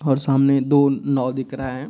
और सामने दो नाव दिख रहा है।